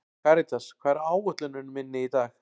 Karítas, hvað er á áætluninni minni í dag?